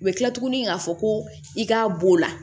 U bɛ kila tuguni k'a fɔ ko i k'a b'o la